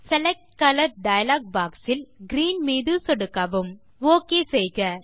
select colour dialog box இல் green மீது சொடுக்கவும் ஒக் செய்க